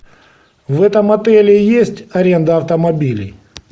в этом отеле есть аренда автомобилей